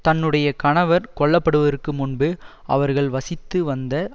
தன்னுடைய கணவர் கொல்ல படுவதற்கு முன்பு அவர்கள் வசித்து வந்த